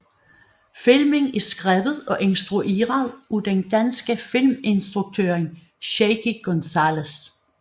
Filmen er skrevet og instrueret af den danske filminstruktør Shaky González